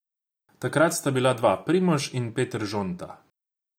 Takrat sta bila dva, Primož in Peter Žonta.